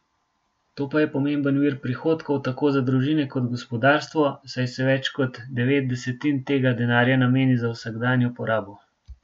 To pa je pomemben vir prihodkov tako za družine kot gospodarstvo, saj se več kot devet desetin tega denarja nameni za vsakdanjo porabo.